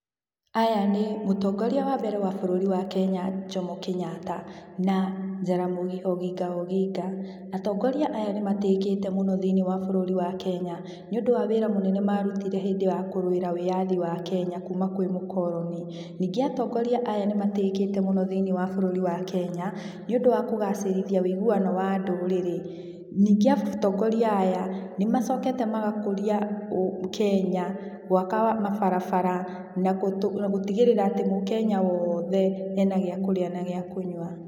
Aya nĩ mũtongoria wa mbere wa bũrũri wa kenya, Jomo Kenyatta na Jaramogi Oginga Oginga. Atongoria aya nĩ matĩĩkĩte mũno thĩinĩ wa bũrũri wa kenya nĩũndũ wa wĩra mũnene marutire hĩndĩ ya kũrũĩrĩra wĩathi wa bũrũri wa Kenya kuma kwĩ mũkoroni. Ningĩ atongoria aya nĩ matĩĩkĩte mũno thĩinĩ wa bũrũri wa Kenya, nĩũndũ wa kũgacĩrithia ũiguano wa ndũrĩrĩ. Ningĩ atongoria aya nĩmacokete magakũria ũ Kenya gwaka mabarabara na gũtigĩrĩra atĩ mũkenya wothe ena gĩa kũrĩa na gĩa kũnyua.